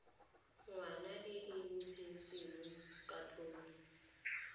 ngwana e e ntshitseng katlholo